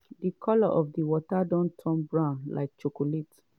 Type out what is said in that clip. di colour of di water don turn brown like chocolate.